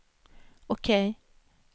OK